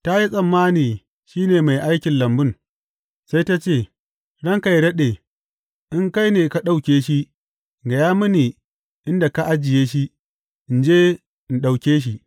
Ta yi tsammani shi ne mai aikin lambun, sai ta ce, Ranka yă daɗe, in kai ne ka ɗauke shi, gaya mini inda ka ajiye shi, in je in ɗauke shi.